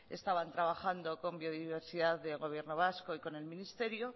estaban trabajando con biodiversidad de gobierno vasco y con el ministerio